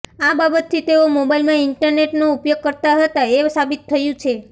આ બાબતથી તેઓ મોબાઇલમાં ઇન્ટરનેટનો ઉપયોગ કરતાં હતાં એ સાબિત થયું છે